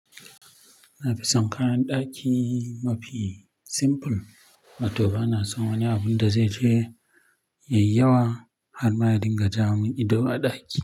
Na fi son kayan ɗaki mafi simple. Ma toh ba na son wani abun da zai je yayi yawa har ma ya dinga ja mun ido a ɗaki.